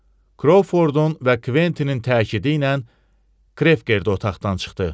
Krovfordun və Kventinin təkidi ilə Krefker də otaqdan çıxdı.